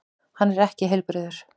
Hann er ekki heilbrigður.